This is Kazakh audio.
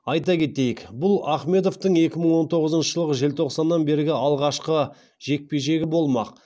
айта кетейік бұл ахмедовтың екі мың он тоғызыншы жылғы желтоқсаннан бергі алғашқы жекпе жегі болмақ